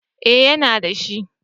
Eh yana da shi